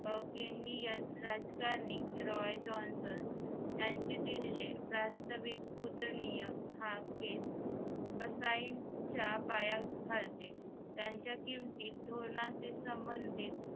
के न डीयन राजकारणी रॉय जॉन्सन यांचे दिलेले प्रास्ताविक उदार्निय हाकेस असायच्या पाय खालची त्यांच्या किमती धोरणाच्या संबंधीत